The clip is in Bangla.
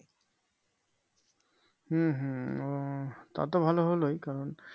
হম হম আহ তা তো ভালো হলোই কারণ